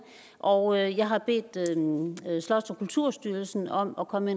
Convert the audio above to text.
og jeg har bedt slots og kulturstyrelsen om at komme